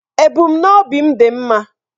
Ebumnobi m dị mma.